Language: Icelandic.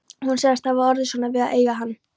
Hún sagðist hafa orðið svona við að eiga hann